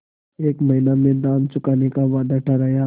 एक महीने में दाम चुकाने का वादा ठहरा